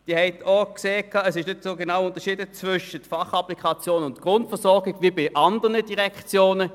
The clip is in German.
Sie haben auch gesehen, dass nicht so genau zwischen der Fachapplikation und der Grundversorgung unterschieden wird wie bei anderen Direktionen.